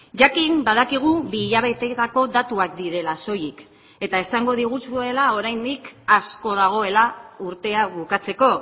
jakin badakigu bi hilabeteetako datuak direla soilik eta esango diguzuela oraindik asko dagoela urtea bukatzeko